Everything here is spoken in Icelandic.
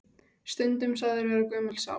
Stundum sagður vera gömul sál.